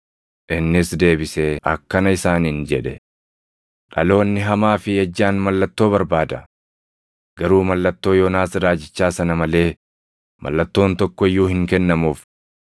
Innis deebisee akkana isaaniin jedhe; “Dhaloonni hamaa fi ejjaan mallattoo barbaada! Garuu mallattoo Yoonaas raajichaa sana malee mallattoon tokko iyyuu hin kennamuuf.